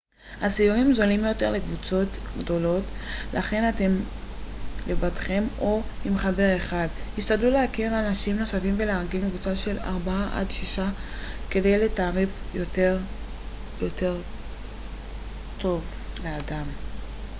הסיורים זולים יותר לקבוצות גדולות לכן אם אתם לבדכם או עם חבר אחד השתדלו להכיר אנשים נוספים ולארגן קבוצה של ארבעה עד שישה כדי לקב לתעריף טוב יותר לאדם